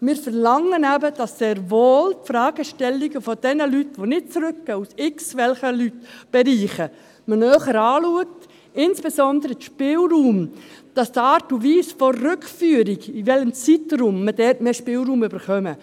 – Wir verlangen eben sehr wohl, dass man die Fragestellungen derjenigen Leute, die nicht zurückkehren, aus irgendwelchen Bereichen, näher anschaut, und insbesondere, dass wir bei der Art und Weise der Rückführung, auch bezüglich des Zeitraums, mehr Spielraum erhalten.